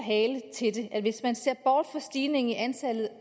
er hvis man ser bort fra stigningen i antallet